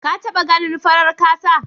Da taba ganin farar kasa?